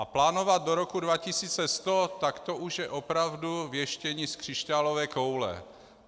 A plánovat do roku 2100, tak to už je opravdu věštění z křišťálové koule.